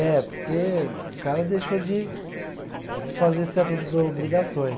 É, porque o cara deixou de de fazer certas bro obrigações.